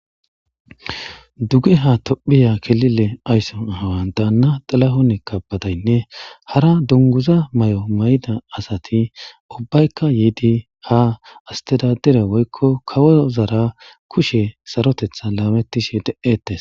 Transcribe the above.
Dugeha tophiya ayzo awa Dana xilahon kebedey e hara dunguza mayida asati yidi sarotishe deetes